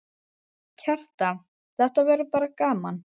Kjartan: Þetta verður bara gaman?